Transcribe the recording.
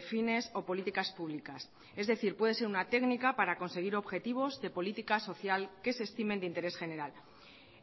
fines o políticas públicas es decir puede ser una técnica para conseguir objetivos de política social que se estimen de interés general